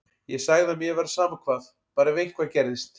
Ég sagði að mér væri sama hvað, bara ef eitthvað gerðist.